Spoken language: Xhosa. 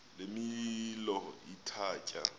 le milo ithatya